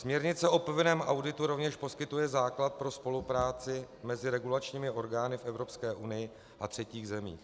Směrnice o povinném auditu rovněž poskytuje základ pro spolupráci mezi regulačními orgány v Evropské unii a třetích zemích.